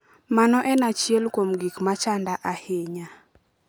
Mano en achiel kuom gik machanda ahinya".